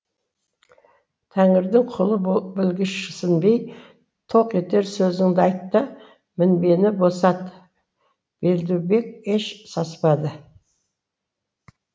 тәңірдің құлы білгішсінбей тоқ етер сөзіңді айт та мінбені босат белдібек еш саспады